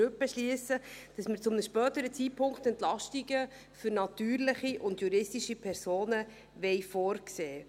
zwar zu einem späteren Zeitpunkt, aber die Grundsätze, damit wir es dann machen können, müssen wir heute beschliessen.